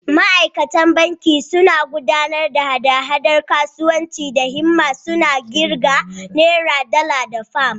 Ma’aikatan banki suna gudanar da hada-hadar kasuwanci da himma, suna ƙirga Nera, Dala, da Fam.